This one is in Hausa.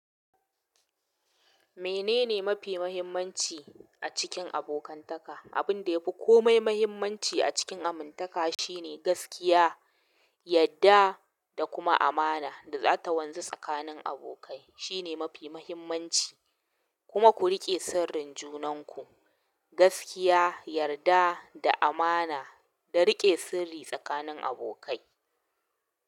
Menene mafi muhimmanci a cikin abokantaka? Abinda yafi komai mahimmanci a cikin abokantaka shine gaskiya, yarda da kuma amana da zata wanza sakanin abokai, shine mafi mahimmanci kuma ku riƙe sirrin junanku. Gaskiya, yarda da amana, da riƙe sirri tsakanin abokai.